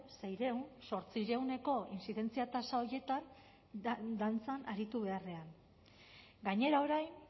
seiehun zortziehuneko inzidentzia tasa horietan dantzan aritu beharrean gainera orain